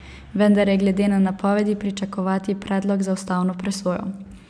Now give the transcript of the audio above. Vendar je glede na napovedi pričakovati predlog za ustavno presojo.